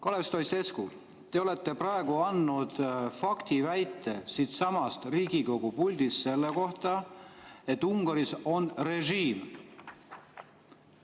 Kalev Stoicescu, te olete praegu esitanud siitsamast Riigikogu puldist faktiväite selle kohta, et Ungaris on režiim.